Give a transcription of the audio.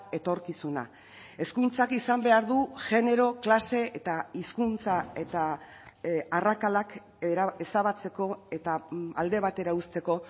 etorkizuna hezkuntzak izan behar du genero klase eta hizkuntza eta arrakalak ezabatzeko eta alde batera uzteko